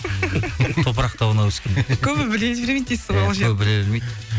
топырақ тауына өскен көбі біле бермейді дейсіз ғой көбі біле бермейді